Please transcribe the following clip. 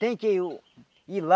Tem que uh ir lá,